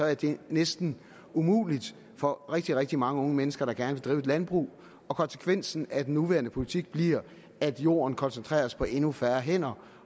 er det næsten umuligt for rigtig rigtig mange unge mennesker der gerne vil drive et landbrug og konsekvensen af den nuværende politik bliver at jorden koncentreres på endnu færre hænder